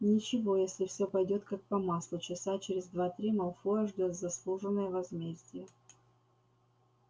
ничего если всё пойдёт как по маслу часа через два-три малфоя ждёт заслуженное возмездие